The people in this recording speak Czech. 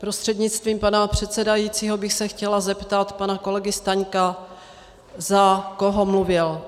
Prostřednictvím pana předsedajícího bych se chtěla zeptat pana kolegy Staňka, za koho mluvil.